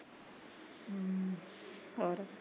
ਹੋਰ